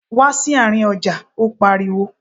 Wá sí àárín ọjà! Ó pariwo.